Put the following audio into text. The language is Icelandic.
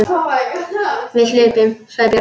Við hlupum, sagði Björn.